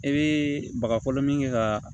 I bɛ baga fɔlɔ min kɛ ka